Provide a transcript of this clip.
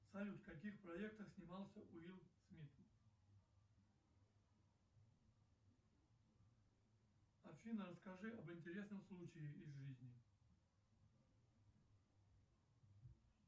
салют в каких проектах снимался уилл смит афина расскажи об интересных случаях из жизни